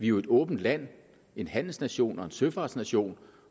jo et åbent land en handelsnation og en søfartsnation